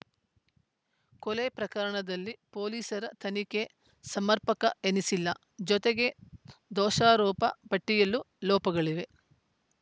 ಕೊಲೆ ಪ್ರಕರಣದಲ್ಲಿ ಪೊಲೀಸರ ತನಿಖೆ ಸಮರ್ಪಕ ಎನಿಸಿಲ್ಲ ಜೊತೆಗೆ ದೋಷಾರೋಪ ಪಟ್ಟಿಯಲ್ಲೂ ಲೋಪಗಳಿವೆ